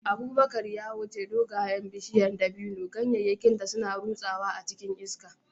Abubakar ya wuce dogayen bishiyar dabino, ganyayenta suna ta rutsawa cikin iska.